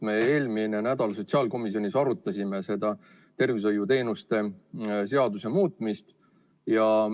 Me eelmine nädal sotsiaalkomisjonis arutasime seda tervishoiuteenuste seaduse muutmist.